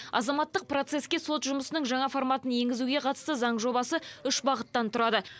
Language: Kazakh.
азаматтық процеске сот жұмысының жаңа форматын енгізуге қатысты заң жобасы үш бағыттан тұрады